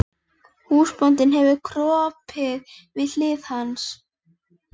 Húsbóndinn hefur kropið við hlið hans.